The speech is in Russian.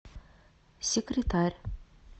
секретарь